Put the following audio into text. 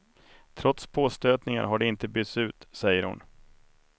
Trots påstötningar har de inte bytts ut, säger hon.